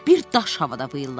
Bir daş havada vıyıladı.